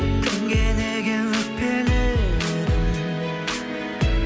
кімге неге өкпеледің